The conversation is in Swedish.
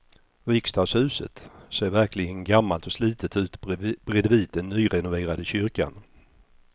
Riksdagshuset ser verkligen gammalt och slitet ut bredvid den nyrenoverade kyrkan.